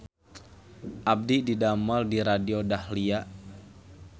Abdi didamel di Radio Dahlia